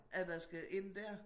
At der skal ind dér